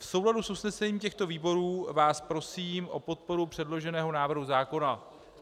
V souladu s usnesením těchto výborů vás prosím o podporu předloženého návrhu zákona.